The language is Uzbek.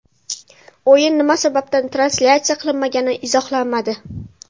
O‘yin nima sababdan translyatsiya qilinmagani izohlanmadi.